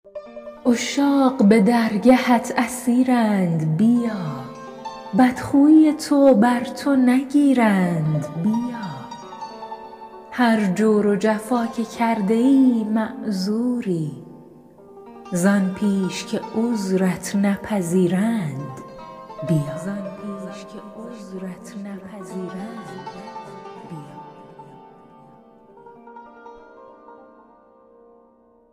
عشاق به درگهت اسیرند بیا بدخویی تو بر تو نگیرند بیا هر جور و جفا که کرده ای معذوری زآن پیش که عذرت نپذیرند بیا